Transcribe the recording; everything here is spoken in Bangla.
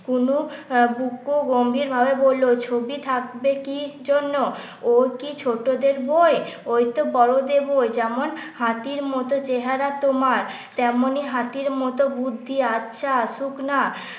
বুকু গম্ভীর ভাবে বললো ছবি থাকবে কি জন্য ও কি ছোটদের বই? ও তো বড়দের বই। যেমন হাতির মত চেহারা তোমার তেমনি হাতির মতো বুদ্ধি আচ্ছা আসুক না।